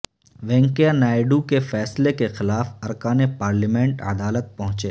وینکیا نائیڈو کے فیصلے کے خلاف ارکان پارلیمنٹ عدالت پہنچے